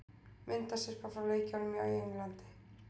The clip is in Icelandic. Myndasyrpa frá leikjunum í Englandi